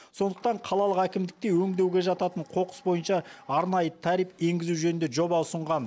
сондықтан қалалық әкімдікке өңдеуге жататын қоқыс бойынша арнайы тариф енгізу жөнінде жоба ұсынған